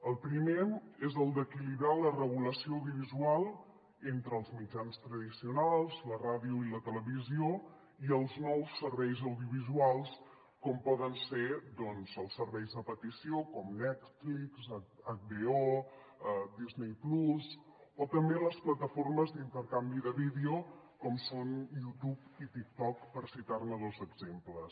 el primer és el d’equilibrar la regulació audiovi·sual entre els mitjans tradicionals la ràdio i la televisió i els nous serveis audio·visuals com poden ser els serveis a petició com netflix hbo disney+ o també les plataformes d’intercanvi de vídeos com són youtube i tiktok per citar·ne dos exemples